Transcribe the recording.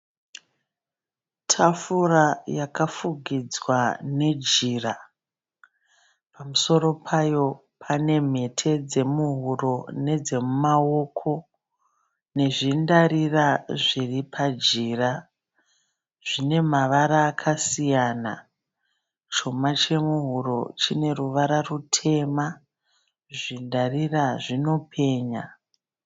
Tafura yakafugidzwa nejira. Pamusoro payo panemhete dzemuhuro nedzemumaoko. Nezvindarira zviripajira, Zvinemavara akasiyana. Chuma chemuhuri chine ruvara rutema. Zvindarira zvinopenya.